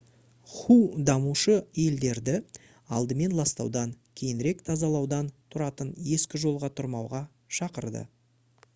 ху дамушы елдерді «алдымен ластаудан кейінірек тазалаудан тұратын ескі жолға тұрмауға» шақырды